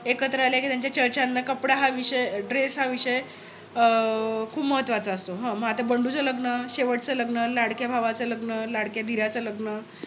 एकत्र आल्या कि त्यांच्या चर्चाना कपडा हा विषय dress हा विषय खूप महत्वाचा असतो. मग आता बंडूच लग्न शेवटच लग्न, लाडक्या भावाचं लग्न, लाडक्या दिराच लग्न